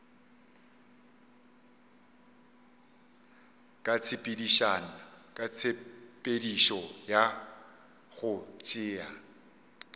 ka tshepedišo ya go tšea